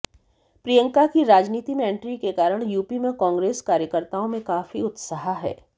प्रियंका की राजनीति में एंट्री के कारण यूपी में कांग्रेस कार्यकर्ताओं में काफी उत्साह है